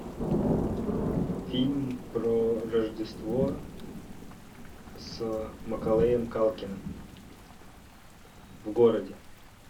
фильм про рождество с маколеем калкиным в городе